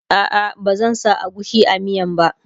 a'a ba zan sa agushi a miyan ba